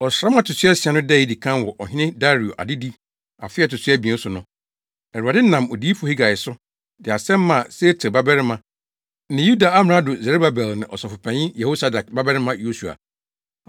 Ɔsram a ɛto so asia no da a edi kan wɔ Ɔhene Dario adedi afe a ɛto so abien so no, Awurade nam Odiyifo Hagai so, de asɛm maa Sealtiel babarima ne Yuda amrado Serubabel ne Ɔsɔfopanyin Yehosadak babarima Yosua.